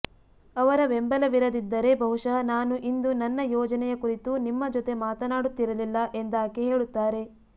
ಅವರ ಬೆಂಬಲವಿರದಿದ್ದರೆ ಬಹುಶಃ ನಾನು ಇಂದು ನನ್ನ ಯೋಜನೆಯ ಕುರಿತು ನಿಮ್ಮ ಜೊತೆ ಮಾತನಾಡುತ್ತಿರಲಿಲ್ಲ ಎಂದಾಕೆ ಹೇಳುತ್ತಾರೆ